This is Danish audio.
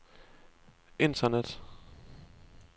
internet